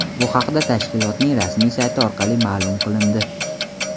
Bu haqda tashkilotning rasmiy sayti orqali ma’lum qilindi .